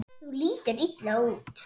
Þú lítur illa út